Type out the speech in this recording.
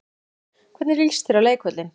Elín: Hvernig líst þér á leikvöllinn?